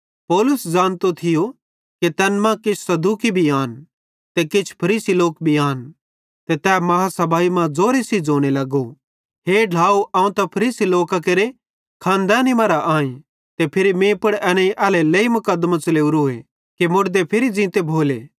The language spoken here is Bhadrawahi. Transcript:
पौलुस ज़ानतो थियो कि तैन मां किछ सदूकी भी आन ते किछ फरीसी लोक भी आन ते तै महासभाई मां ज़ोरे सेइं ज़ोने लगो हे ढ्लाव अवं त फरीसी लोकां केरे खानदेंनी मरां आईं ते मीं पुड़ एनेईं एल्हेरेलेइ मुकदमों च़लेवरोए कि अवं उमीद रखताईं कि मुड़दे फिरी ज़ींते भोले